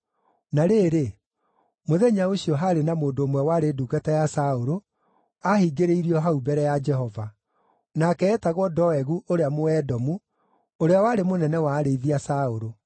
Na rĩrĩ, mũthenya ũcio, haarĩ na mũndũ ũmwe warĩ ndungata ya Saũlũ, aahingĩrĩirio hau mbere ya Jehova; nake eetagwo Doegu ũrĩa Mũedomu, ũrĩa warĩ mũnene wa arĩithi a Saũlũ.